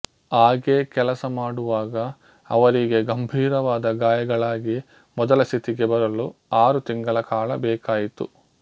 ಹಾಗೆ ಕೆಲಸ ಮಾಡುವಾಗ ಅವರಿಗೆ ಗಂಭೀರವಾದ ಗಾಯಗಳಾಗಿ ಮೊದಲ ಸ್ಥಿತಿಗೆ ಬರಲು ಆರು ತಿಂಗಳ ಕಾಲ ಬೇಕಾಯಿತು